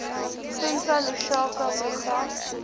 fundza lushaka program